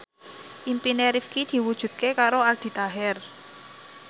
impine Rifqi diwujudke karo Aldi Taher